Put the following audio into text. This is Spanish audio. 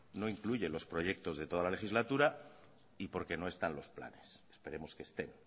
no incluye los proyectos de toda la legislatura y porque no están los planes esperemos que estén